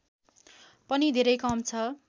पनि धेरै कम छ